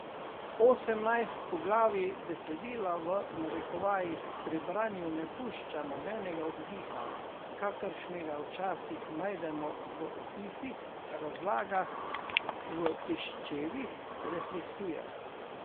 Osemnajst poglavij besedila v narekovajih pri branju ne pušča nobenega oddiha, kakršnega včasih najdemo v opisih, razlagah, v piščevih refleksijah.